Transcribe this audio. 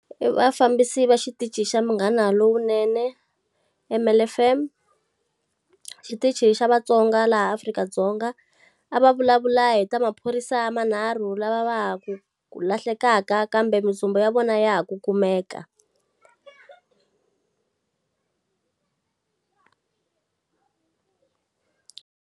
I vafambisi va xitichi xa Munghana Lonene, M_L F_M. Xitichi xa vatsonga laha Afrika-Dzonga. A va vulavula hi ta maphorisa manharhu lava va ha ku ku lahlekaka kambe mintsumbu ya vona ya ha ku kumeka.